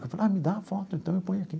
Eu falo, ah, me dá a foto, então eu ponho aqui.